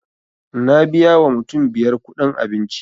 Na biya wa mutum biyar kuɗin abinci